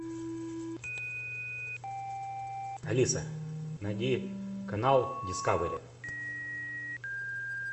алиса найди канал дискавери